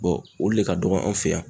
o le ka dɔgɔ an fɛ yan.